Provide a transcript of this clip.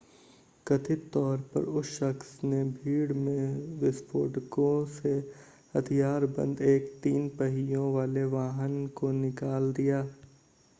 कथित तौर पर उस शख्स ने भीड़ में विस्फोटकों से हथियारबंद एक तीन पहियों वाले वाहन को निकाल दिया